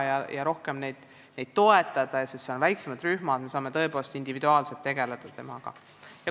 Last saab rohkem toetada, sest siis on väiksemad rühmad, me saame temaga tõepoolest individuaalselt tegeleda.